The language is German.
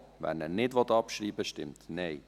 wer ihn nicht abschreiben will, stimmt Nein.